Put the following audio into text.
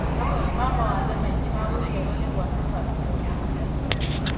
Mamwe ma mawathe maingĩ ma gũciarwo nĩ gwatũka kĩromo na kanua.